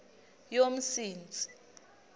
yomsintsi